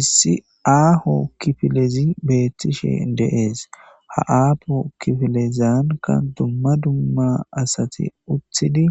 issi aaho kifilezi beettishe deees ha aapo kifilezaanka dumma dumma asati utthidi